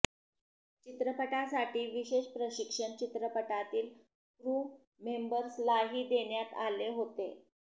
चित्रपटासाठी विशेष प्रशिक्षण चित्रपटातील क्रू मेंबर्सलाही देण्यात आले होते